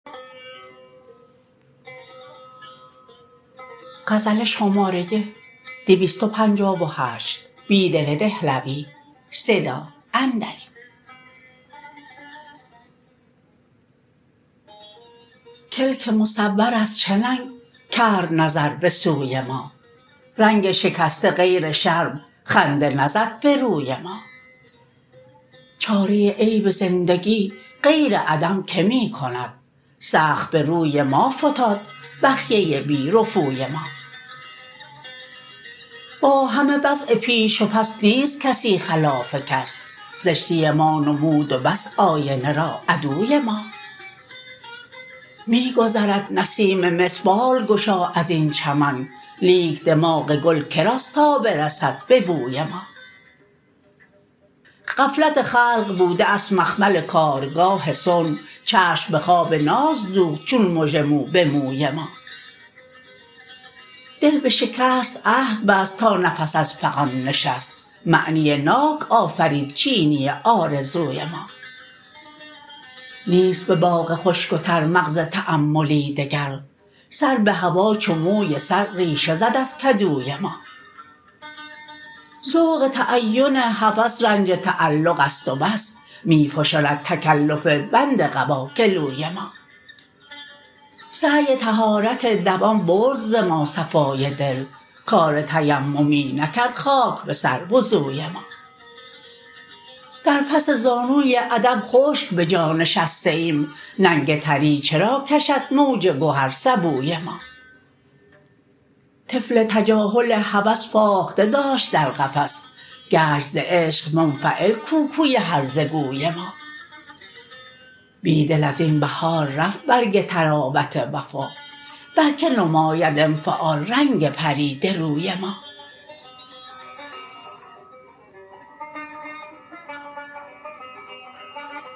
کلک مصوراز چه ننگ کرد نظربه سوی ما رنگ شکسته غیرشرم خنده نزدبه روی ما چاره عیب زندگی غیر عدم که می کند سخت به روی ما فتاد بخیه بی رفوی ما باهمه وضع پیش و پس نیست کسی خلاف کس زشتی ما نمود وبس آینه را عدوی ما می گذرد نسیم مصر بال گشا از این چمن لیک دماغ گل کراست تا برسد به بوی ما غفلت خلق بوده است مخمل کارگاه صنع چشم به خواب نازدوخت چون مژه موبه موی ما دل به شکست عهد بست تا نفس از فغان نشست معنی ناک آفرید چینی آرزوی ما نیست به باغ خشک وترمغزتأملی دگر سر به هوا چو موی سر ریشه زد ازکدوی ما ذوق تعین هوس رنج تعلق است و بس می فشرد تکلف بند قباگلوی ما سعی طهارت دوام برد ز ما صفای دل کار تیممی نکرد خاک بسر وضوی ما در پس زانوی ادب خشک بجا نشسته ایم ننگ تری چراکشد موج گوهر سبوی ما طفل تجاهل هوس فاخته داشت در قفس گشت زعشق منفعل کوکوی هرزه گوی ما بیدل ازین بهار رفت برگ طراوت وفا برکه نماید انفعال رنگ پریده روی ما